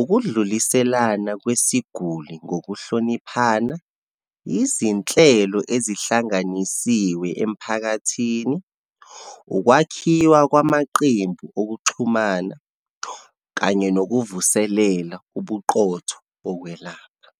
ukudluliselana kwesiguli ngokuhloniphana, izinhlelo ezihlanganisiwe emphakathini, ukwakhiwa kwamaqembu okuxhumana, kanye nokuvuselela ubuqotho bokwelapha.